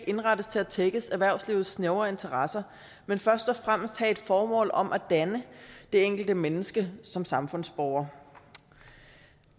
indrettes til at tækkes erhvervslivets snævre interesser men først og fremmest have et formål om at danne det enkelte menneske som samfundsborger